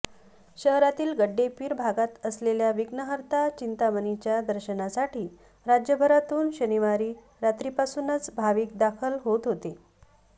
शहरातील गड्डेपीर भागात असलेल्या विघ्नहर्ता चिंतामणीच्या दर्शनासाठी राज्यभरातून शनिवारी रात्रीपासूनच भाविक दाखल होत होते